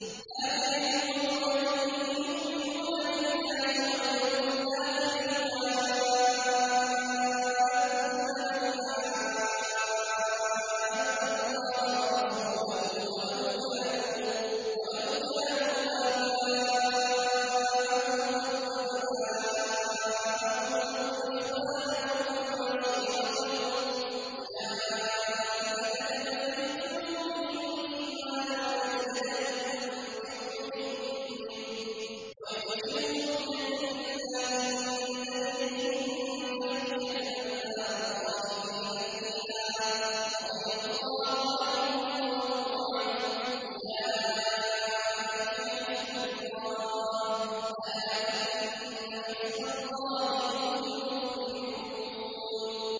لَّا تَجِدُ قَوْمًا يُؤْمِنُونَ بِاللَّهِ وَالْيَوْمِ الْآخِرِ يُوَادُّونَ مَنْ حَادَّ اللَّهَ وَرَسُولَهُ وَلَوْ كَانُوا آبَاءَهُمْ أَوْ أَبْنَاءَهُمْ أَوْ إِخْوَانَهُمْ أَوْ عَشِيرَتَهُمْ ۚ أُولَٰئِكَ كَتَبَ فِي قُلُوبِهِمُ الْإِيمَانَ وَأَيَّدَهُم بِرُوحٍ مِّنْهُ ۖ وَيُدْخِلُهُمْ جَنَّاتٍ تَجْرِي مِن تَحْتِهَا الْأَنْهَارُ خَالِدِينَ فِيهَا ۚ رَضِيَ اللَّهُ عَنْهُمْ وَرَضُوا عَنْهُ ۚ أُولَٰئِكَ حِزْبُ اللَّهِ ۚ أَلَا إِنَّ حِزْبَ اللَّهِ هُمُ الْمُفْلِحُونَ